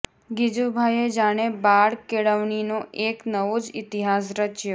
ગિજુભાઈએ જાણે બાળ કેળવણીનો એક નવો જ ઈતિહાસ રચ્યો